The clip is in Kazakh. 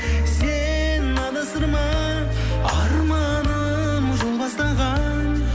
сен адастырма арманым жол бастаған